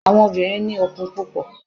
àwọn obìrin ni okun púpò